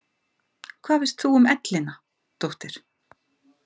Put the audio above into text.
Hvað veist þú um ellina, dóttir?